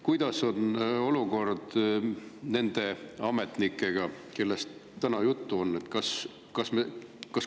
Kuidas on olukord nende ametnikega, kellest täna juttu on?